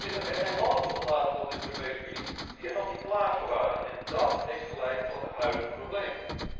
Er zijn landen toegelaten tot de Europese Unie die er nog niet klaar voor waren en dat heeft geleid tot de huidige problemen.